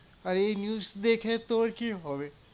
আর এই news দেখে তোর কি হবে,